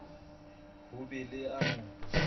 ho be le ya mo